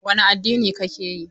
Wane addini kake yi?